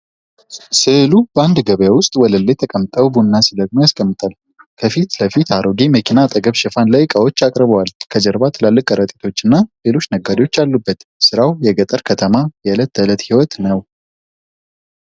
ሥዕሉ ሰዎች በአንድ ገበያ ውስጥ ወለል ላይ ተቀምጠው ቡና ሲለቅሙ ያስቀምጣል። ከፊት ለፊት አሮጌ መኪና አጠገብ ሽፋን ላይ ዕቃዎችን አቅርበዋል። ከጀርባ ትላልቅ ከረጢቶች እና ሌሎች ነጋዴዎች አሉበት። ሥራው የገጠር ከተማ የዕለት ተዕለት ሕይወት ነው።